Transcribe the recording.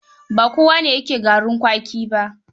Ba kowane yake garin kwaki ba.